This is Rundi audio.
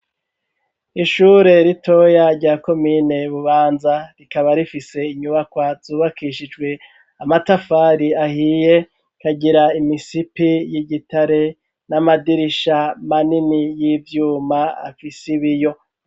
Ishure ritoya rya komine Bubanza, rikaba rifise inyubakwa zubakishijwe amatafari ahiye, rikagira imisipi y'igitare, n'amadirisha manini y'ivyuma afise ibiyo.